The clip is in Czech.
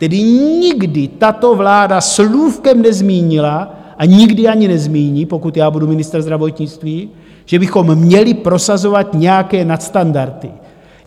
Tedy nikdy tato vláda slůvkem nezmínila a nikdy ani nezmíní, pokud já budu ministrem zdravotnictví, že bychom měli prosazovat nějaké nadstandardy.